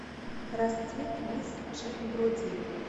расцвет мисс джин броди